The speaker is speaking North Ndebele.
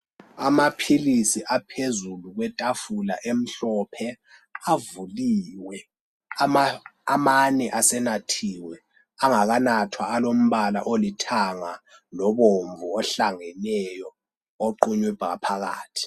Amaphilisi aphezulu kwetafula emhlophe avuliwe amane asenathiwe angakanathwa alombala olithanga lobomvu ohlangeneyo oqunywe ngaphakathi.